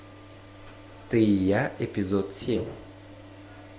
ты и я эпизод семь